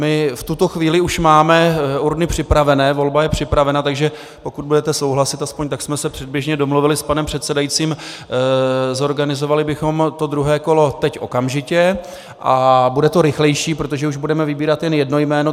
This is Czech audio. My v tuto chvíli už máme urny připravené, volba je připravena, takže pokud budete souhlasit - aspoň tak jsme se předběžně domluvili s panem předsedajícím -, zorganizovali bychom to druhé kolo teď okamžitě a bude to rychlejší, protože už budeme vybírat jen jedno jméno.